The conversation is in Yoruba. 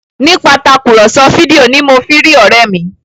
Nípasẹ Tàkùrọ̀sọ fídíò ní mọ fí rí òré mí